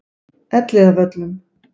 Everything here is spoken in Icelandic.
Elliðavöllum